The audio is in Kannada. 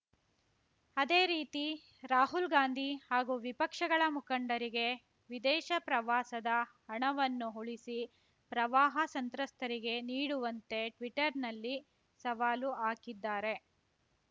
ಅದೇ ರೀತಿ ರಾಹುಲ್‌ ಗಾಂಧಿ ಹಾಗೂ ವಿಪಕ್ಷಗಳ ಮುಖಂಡರಿಗೆ ವಿದೇಶ ಪ್ರವಾಸದ ಹಣವನ್ನು ಉಳಿಸಿ ಪ್ರವಾಹ ಸಂತ್ರಸ್ತರಿಗೆ ನೀಡುವಂತೆ ಟ್ವೀಟರ್‌ನಲ್ಲಿ ಸವಾಲು ಹಾಕಿದ್ದಾರೆ